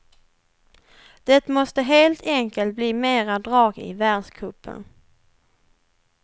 Det måste helt enkelt bli mera drag i världscupen.